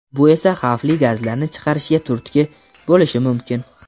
bu esa xavfli gazlarni chiqarishga turtki bo‘lishi mumkin.